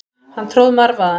Hann tróð marvaðann.